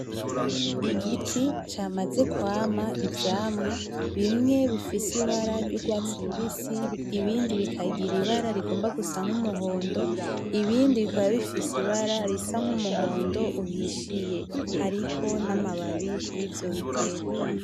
Igiti camaze kwama ivyamwa bimwe bifise ibara ry’urwasti rubisi, ibindi bikangira ibara rigomba gusa n’umuhondo, ibindi bikamba bifise ibara n’umuhondo uhishiye hariko namabambi hariko namababi kurivyo biterwa.